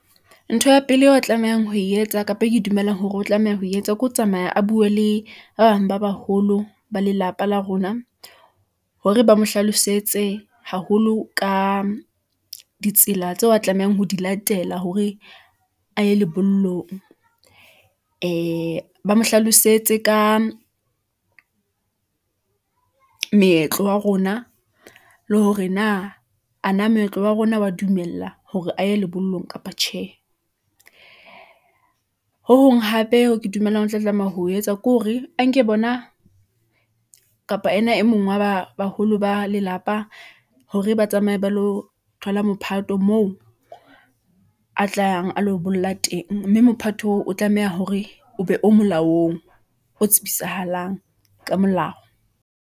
Ntho ya pele eo a tlamehang ho e etsa, kapa e ke dumelang hore o tlameha ho e etsa, ke ho tsamaya a bue le ba bang ba baholo, ba lelapa la rona , hore ba mo hlalosetse haholo ka , ditsela tseo a tlamehang ho di latela hore a ye lebollong , ee, ba mo hlalosetse ka moetlo wa rona , le hore na ana moetlo wa rona wa dumela, hore a ye lebollong kapa tjhe . Ho hong hape, hoo ke dumelang, o tla tlameha ho etsa ke hore a nke bona , kapa ena e mong wa baholo ba lelapa , hore ba tsamaye ba lo thola la mophato moo a tlang a lo bolla teng. Mme mophato oo o tlameha hore o be o molaong ['pause], o tsibisahalang ka molao.